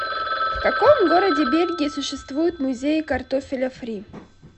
в каком городе бельгии существует музей картофеля фри